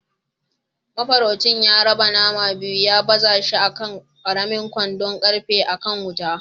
Mafaraucin ya raba naman biyu ya baza shi a kan ƙaramin kwandon ƙarfe a kan wuta.